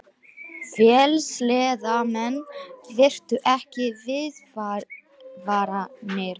Vélsleðamenn virtu ekki viðvaranir